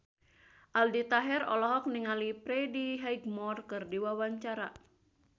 Aldi Taher olohok ningali Freddie Highmore keur diwawancara